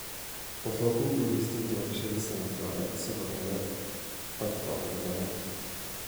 Wuxuu ku guuleystay doorashadii sanadkii hore isagoo helay codadka ugu badan.